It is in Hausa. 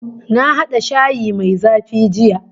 Na hada shayi mai zafi jiya